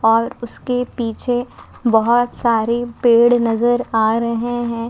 और उसके पीछे बहुत सारे पेड़ नजर आ रहे हैं।